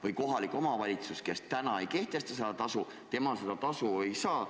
Ja kohalik omavalitsus, kes ei kehtesta kohatasu, seda raha ka ei saa.